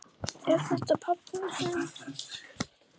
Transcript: Er þetta pabbi þinn?